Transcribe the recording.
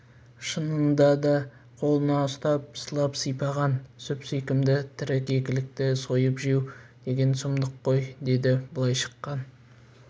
шынында да қолыңа ұстап сылап-сипаған сүп-сүйкімді тірі кекілікті сойып жеу деген сұмдық қой деді былай шыққан